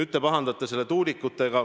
Te pahandate tuulikute pärast.